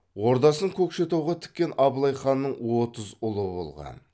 ордасын көкшетауға тіккен абылай ханның отыз ұлы болған